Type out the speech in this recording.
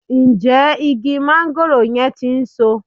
Ǹjẹ́ igi máńgòrò yẹn ti ń so?